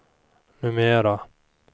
numera